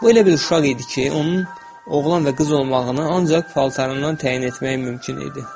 Bu elə bir uşaq idi ki, onun oğlan və qız olmağını ancaq paltarından təyin etmək mümkün idi.